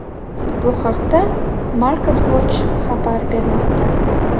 Bu haqda MarketWatch xabar bermoqda .